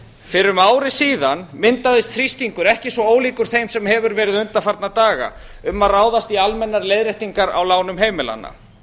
fyrir um ári síðan myndaðist þrýstingur ekki svo ólíkur þeim sem hefur verið undanfarna daga um að ráðast í almennar leiðréttingar á lánum heimilanna